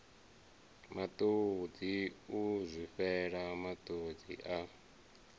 matodzi u zwifhela matodzi a